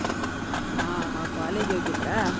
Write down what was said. ಹಾ college ಹೋಗಿದ್ರ?